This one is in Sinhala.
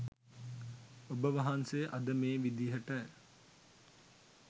ඔබ වහන්සේ අද මේ විදියට